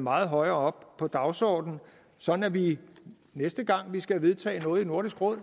meget højere op på dagsordenen sådan at vi næste gang vi skal vedtage noget i nordisk råd